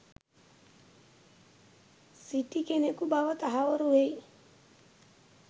සිටි කෙනකු බව තහවුරු වෙයි.